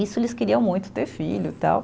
Isso eles queriam muito, ter filho e tal.